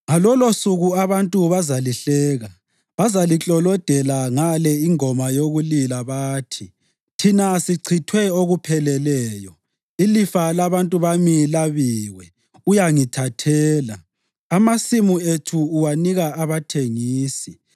Ngalolosuku abantu bazalihleka; bazaliklolodela ngale ingoma yokulila bathi: ‘Thina sichithwe okupheleleyo; ilifa labantu bami labiwe. Uyangithathela! Amasimu ethu uwanika abathengisi.’ ”